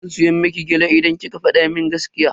Zan siya miki gyale idan kika fada mun gaskiya.